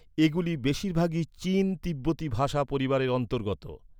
এগুলি বেশিরভাগই চীন তিব্বতি ভাষা পরিবারের অন্তর্গত।